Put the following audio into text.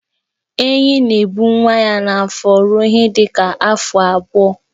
Enyí na-ebu nwa ya n'afọ ruo ihe dịka afọ abụọ.